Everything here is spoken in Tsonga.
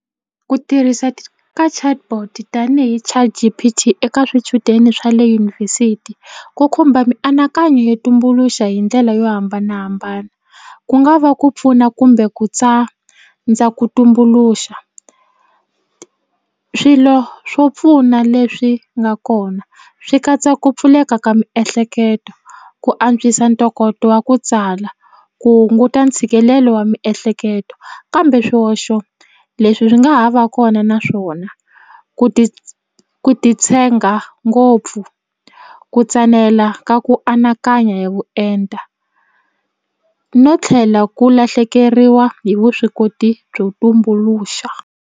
Ku tirhisa ka chatbot tanihi ChatGPT eka swichudeni swa le yunivhesiti ku khumba mianakanyo yo tumbuluxa hi ndlela yo hambanahambana ku nga va ku pfuna kumbe ku tsandza ku tumbuluxa swilo swo pfuna leswi nga kona swi katsa ku pfuleka ka miehleketo ku antswisa ntokoto wa ku tsala ku hunguta ntshikelelo wa miehleketo kambe swihoxo leswi swi nga ha va kona naswona ku ti ku titshenga ngopfu ku tsanela ka ku anakanya hi vuenta no tlhela ku lahlekeriwa hi vuswikoti byo tumbuluxa.